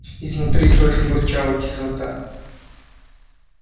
изнутри тоже бурчала кислота